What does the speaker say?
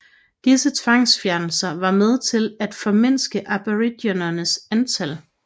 Disse tvangsfjernelser var med til at formindske aboriginernes antal